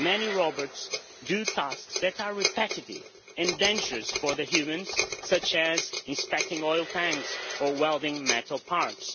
Many robots do tasks that are repetitive and dangerous for humans, such as inspecting oil tanks or welding metal parts.